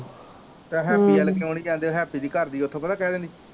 ਤੇ ਹੈਪੀ ਵੱਲ ਕਿਉ ਨੀ ਜਾਂਦੇ ਹੈਪੀ ਦੀ ਘਰ ਦੀ ਉਥੋਂ ਪਤਾ ਕਯਾ ਕਹਿੰਦੀ